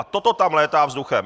A toto tam létá vzduchem.